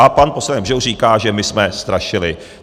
A pan poslanec Bžoch říká, že my jsme strašili.